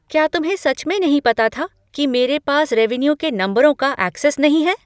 क्या तुम्हें सच में नहीं पता था कि मेरे पास रेवेन्यू के नंबरों का ऐक्सेस नहीं है?